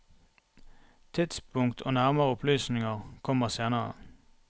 Tidspunkt og nærmere opplysninger kommer senere.